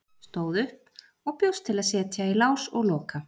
Stóð upp og bjóst til að setja í lás og loka.